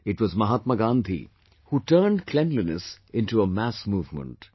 It was Mahatma Gandhi who turned cleanliness into a mass movement